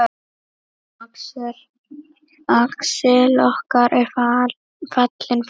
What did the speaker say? Axel okkar er fallinn frá.